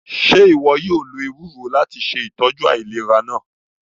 Ṣe iwọ yóò lo ewero lati ṣe itọju ailera naa?